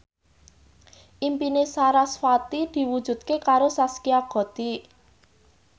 impine sarasvati diwujudke karo Zaskia Gotik